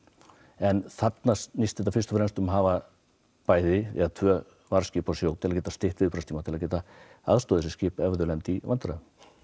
en þarna snýst þetta fyrst og fremst um að hafa tvö varðskip á sjó til að geta stytt viðbragðstíma til að geta aðstoðað þessi skip ef þau lenda í vandræðum